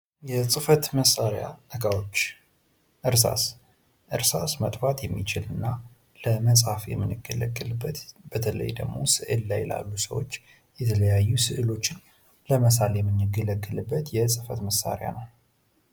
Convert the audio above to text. የፅህፈት መሳሪያ እቃዎች፦ እርሳስ፦ እርሳስ ማጥፋት የሚችልና ለመፃፍ የምንገለገልበት በተለይ ደግሞ ስእል ላይ ላሉ ሰወች የተለያዩ ስእሎችን ለመሳል የምንገለገልበት የፅህፈት መሳሪያ ነው።